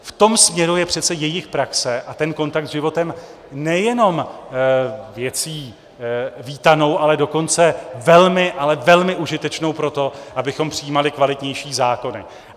V tom směru je přece jejich praxe a ten kontakt s životem nejen věcí vítanou, ale dokonce velmi, ale velmi užitečnou pro to, abychom přijímali kvalitnější zákony.